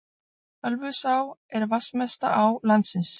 Ölfusá er vatnsmesta á landsins.